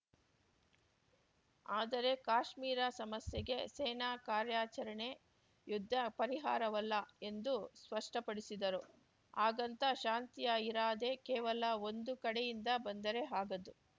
ಆದರೆ ಕಾಶ್ಮೀರ ಸಮಸ್ಯೆಗೆ ಸೇನಾ ಕಾರಾರ‍ಯಚರಣೆ ಯುದ್ಧ ಪರಿಹಾರವಲ್ಲ ಎಂದು ಸ್ಪಷ್ಟಪಡಿಸಿದರು ಹಾಗಂತ ಶಾಂತಿಯ ಇರಾದೆ ಕೇವಲ ಒಂದು ಕಡೆಯಿಂದ ಬಂದರೆ ಆಗದು